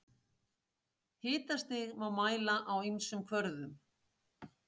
Hitastig má mæla á ýmsum kvörðum.